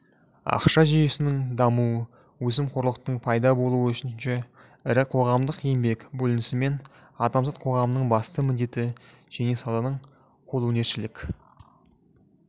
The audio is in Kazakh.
ақша жүйесінің дамуы өсімқорлықтың пайда болуы үшінші ірі қоғамдық еңбек бөлінісімен адамзат қоғамының басты міндеті және сауданың қолөнершілік